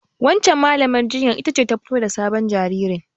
Wancan Mallamar jinyar ita ce fito da sabon jaririn.